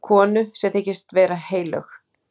Konu sem þykist vera heilög.